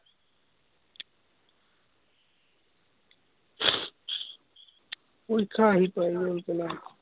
পৰীক্ষা আহি পাই গল